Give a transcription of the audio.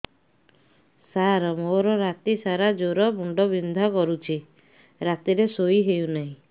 ସାର ମୋର ରାତି ସାରା ଜ୍ଵର ମୁଣ୍ଡ ବିନ୍ଧା କରୁଛି ରାତିରେ ଶୋଇ ହେଉ ନାହିଁ